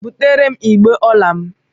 Butere m igbé ọla m!